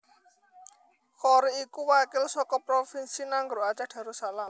Qory iku wakil saka Provinsi Nanggroe Aceh Darussalam